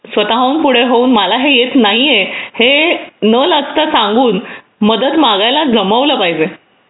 स्वतःहून मग पुढे होऊन मला हे येत नाहीये हे न लाजता सांगून मदत मागायला जमवलं पाहिजे